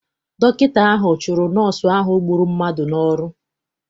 Dọkịta ahụ chụrụ nọọsụ ahụ gburu mmadụ n'ọrụ.